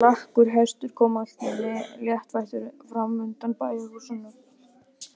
Já, já, eftirlegukindin að þurrka sér um hendurnar!